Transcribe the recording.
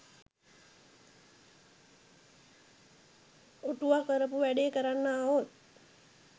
ඔටුව කරපු වැඩේ කරන්න ආවොත්